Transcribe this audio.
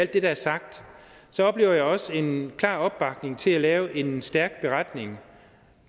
det der er sagt oplever jeg også en klar opbakning til at lave en stærk beretning